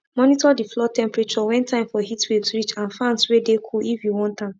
monitor de floor temperature when time for heatwaves reach and fans wey de cool if you want am